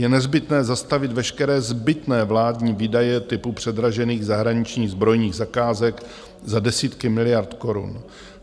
Je nezbytné zastavit veškeré zbytné vládní výdaje typu předražených zahraničních zbrojních zakázek za desítky miliard korun.